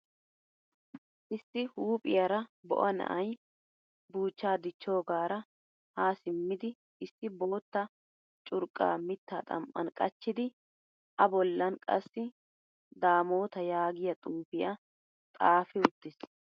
Issi huuphphiyaara bo'a na'aay buchcha dichchoggaara ha simmidi issi boottaa curqqa mitta xam'an qachchidi a bollan qassi damota yaagiyaa xuufiya xaafi uttiis.